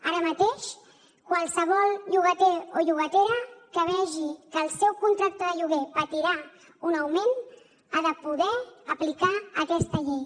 ara mateix qualsevol llogater o llogatera que vegi que el seu contracte de lloguer patirà un augment ha de poder aplicar aquesta llei